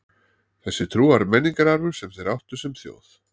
Þessi trú var menningararfur sem þeir áttu sem þjóð.